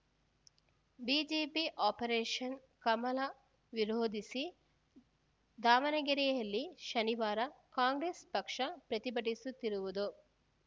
BJP operation Kamala ವಿರೋಧಿಸಿ ದಾವಣಗೆರೆಯಲ್ಲಿ ಶನಿವಾರ ಕಾಂಗ್ರೆಸ್‌ ಪಕ್ಷ ಪ್ರತಿಭಟಿಸುತ್ತಿರುವುದು